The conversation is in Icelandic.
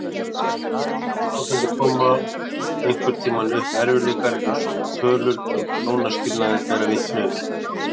Í flestum hjónaböndum koma einhvern tímann upp erfiðleikar eins og tölur um hjónaskilnaði bera vitni.